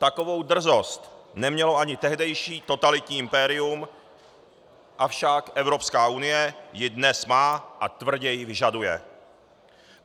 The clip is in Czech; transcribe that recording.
Takovou drzost nemělo ani tehdejší totalitní impérium, avšak Evropská unie ji dnes má a tvrdě ji vyžaduje.